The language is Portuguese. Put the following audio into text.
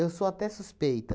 sou até suspeita.